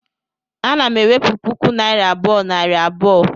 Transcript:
ana m enwepu puku naira abuo nari abuo